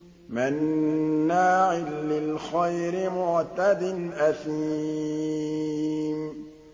مَّنَّاعٍ لِّلْخَيْرِ مُعْتَدٍ أَثِيمٍ